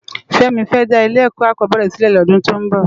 Femi fè dá ilé èkò ákòbèrè silè lòdún tó n bò